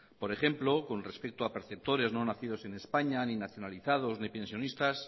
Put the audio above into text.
por ejemplo con respecto a perceptores no nacidos en españa ni nacionalizados ni pensionistas